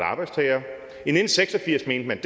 arbejdstagere i nitten seks og firs mente man